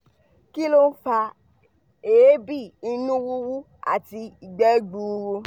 kí ló ń fa eebi ìnu wuwu àti igbe gbuuru?